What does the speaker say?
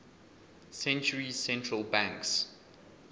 centuries central banks